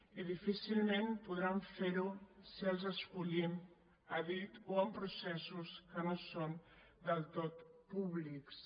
i difícilment podran fer ho si els escollim a dit o amb processos que no són del tot públics